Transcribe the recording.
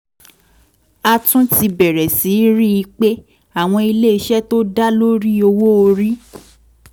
a tún ti bẹ̀rẹ̀ sí rí i pé àwọn ilé iṣẹ́ tó dá lórí owó orí